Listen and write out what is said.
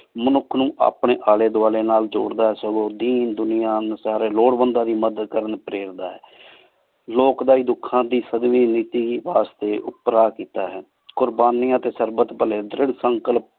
ਮਨੁਖ ਨੂ ਅਪਨੀ ਆਲੀ ਦ੍ਵਾਲ੍ਯ ਨਾਲ ਜ਼ੋਰਦਾ ਆਯ ਸਗੋਂ ਦੀਨ ਦੁਨਿਯਾ ਟੀ ਸਾਰੀ ਜ਼ਰੋਰਟ ਮੰਦ ਲੋਗਾਂ ਦੀ ਮਦਦ ਪ੍ਰੇਰਦਾ ਆਯ ਲੋਕ ਦੀ ਦੁਖਾਂ ਦੀ ਸਦ੍ਵੀ ਨੀਤੀ ਵਾਸ੍ਟੀ ਓਪੇਰਾ ਕੀਤਾ ਹੈ ਕ਼ੁਰ੍ਬਾਨਿਯਾਂ ਟੀ ਸਰਬਤ ਪਾਲੀ ਦ੍ਰਿਢ਼ ਸੰਕਲ